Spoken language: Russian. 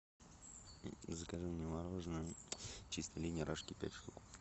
закажи мне мороженое чистая линия рожки пять штук